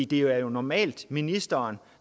det er jo normalt ministeren